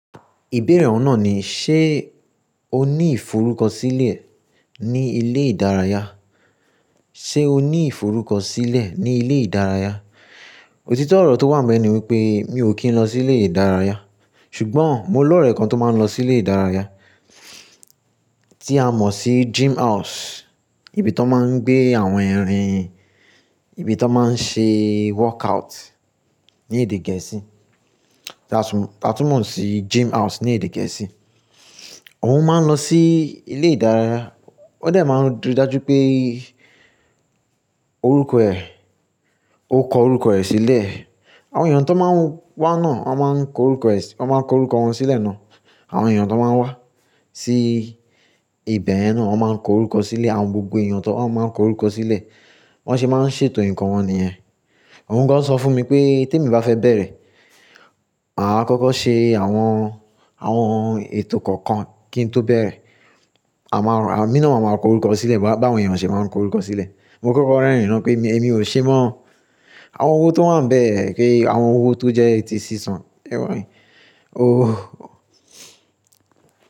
Ìbéèrè ọ̀un nà ni, ṣe o ní ìforúkọ sílẹ̀ ní ilé ìdárayá? Ṣe o ní ìforúkọ sílẹ̀ ní ilé ìdárayá? Òtítọ́ ọ̀rọ̀ tó wà ń bẹ̀ ni wípé mi ò kí ń lọ sí ilé ìdárayá, ṣùgbọ́n mo lọ́ ọ̀rẹ́ kan tó máa ń lọ sí ilé ìdárayá tí a mọ̀ sí gym house, ibi tó máa ń gbé àwọn erin, ibi tó máa ń ṣe workout ní èdè gẹ̀ẹ́sì. Ta tún mọ̀ sí gym house ní èdè gẹ̀ẹ́sì. Òun máa ń lọ sí ilé ìdárayá, ó de máa ń rí dájú pé orúkọ ẹ̀, ó kọ orúkọ ẹ̀ sílẹ̀. Àwọn èèyàn tó máa ń wá náà wọ́n máa ń kọ orúkọ ẹ sí, wọ́n máa ń kọ orúkọ wọn sílẹ̀ náà. Àwọn èèyàn tó máa ń wá sí ibẹ̀ yen náà wọ́n máa ń kọ orúkọ sílẹ̀, àwọn gbogbo èèyàn tó wá máa ń kọ orúkọ sílẹ̀, wọ́n se máa ń ṣètò ǹkan wọn níyẹn. Òun gan sọ fún mi pé tèmi bá fẹ́ bẹ̀rẹ̀, màá kọ́kọ́ ṣe àwọn, àwọn ètò kọ̀ọ̀kan kí n tó bẹ̀rẹ̀. A máa, emí ná à máa kọ orúkọ sílẹ̀ bá wọn èèyàn ṣe máa ń kọ orúkọ sílẹ̀. Mo kọ́kọ́ rán ẹ̀yin náà pé èmi, èmi ò ṣe mọ́ àwọn ohun tó wà níbẹ̀, kí àwọn ohun tó jẹ́ etí sísan. Ẹ rin, oh.